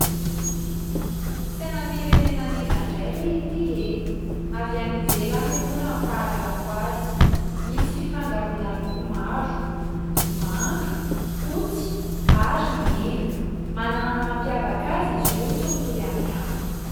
Sainam-pirenenan'iza indray re ity e ? avy any ivelany aloha raha ny fahalalako azy, misy fifangaroana loko maro : manga, fotsy ary mena. Manana ny mampiavaka azy izy io tsy mitovy amin'ny hafa.